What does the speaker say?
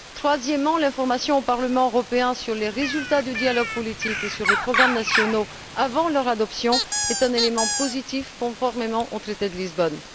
Troisièmement, la communication au Parlement européen des résultats du dialogue politique et des programmes nationaux avant leur adoption est un élément positif conforme au traité de Lisbonne.